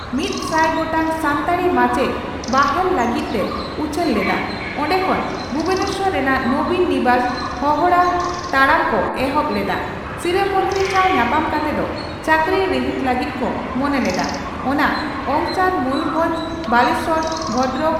ᱥᱟᱱᱛᱟᱲᱤ ᱢᱟᱪᱮᱛ ᱵᱟᱦᱟᱞ ᱞᱟᱹᱜᱤᱫ ᱮ ᱩᱪᱷᱟᱹᱱ ᱞᱮᱫᱼᱟ, ᱚᱰᱮ ᱠᱷᱚᱱ ᱵᱷᱩᱵᱚᱱᱮᱥᱚᱨ ᱨᱮᱱᱟᱜ 'ᱱᱚᱵᱤᱱ ᱱᱤᱵᱟᱥ' ᱦᱚᱸᱦᱰᱟ ᱛᱟᱲᱟᱢ ᱠᱚ ᱮᱦᱚᱵ ᱞᱮᱫᱼᱟ ᱾ᱥᱤᱨᱟᱹ ᱢᱚᱱᱛᱨᱤ ᱥᱟᱣ ᱧᱟᱯᱟᱢ ᱠᱟᱛᱮᱫ ᱪᱟᱠᱨᱤ ᱨᱤᱦᱤᱴ ᱞᱟᱜᱤᱫ ᱠᱚ ᱢᱚᱱᱮ ᱞᱮᱫᱟ, ᱚᱱᱟ ᱚᱝᱥᱟᱨ ᱢᱚᱭᱩᱨᱵᱷᱚᱸᱧᱡᱽ, ᱵᱟᱞᱮᱥᱚᱨ ᱵᱷᱚᱫᱽᱨᱚᱠ᱾